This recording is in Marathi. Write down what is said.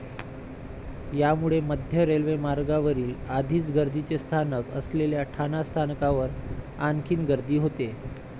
यामुळे मध्य रेल्वे मार्गावरील आधीच गर्दीचे स्थानक असलेल्या ठाणा स्थानकावर आणखीन गर्दी होते.